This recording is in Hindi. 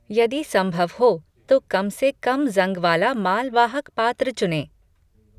यदि संभव हो तो कम से कम ज़ंग वाला मालवाहक पात्र चुनें।